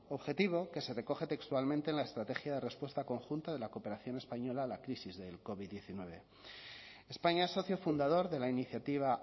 objetivo que se recoge textualmente en la estrategia de respuesta conjunta de la cooperación española a la crisis del covid hemeretzi españa es socio fundador de la iniciativa